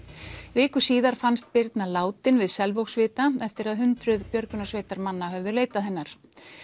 viku síðar fannst Birna látin við eftir að hundruð björgunarsveitarmanna höfðu leitað hennar